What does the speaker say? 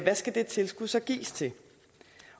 skal det tilskud så gives til